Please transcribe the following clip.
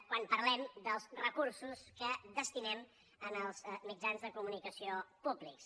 quan parlem dels recursos que destinem als mitjans de comunicació públics